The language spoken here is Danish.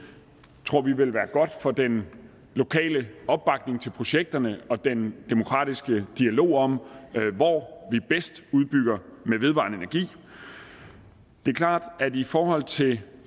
tror vi vil være godt for den lokale opbakning til projekterne og den demokratiske dialog om hvor vi bedst udbygger med vedvarende energi det er klart at i forhold til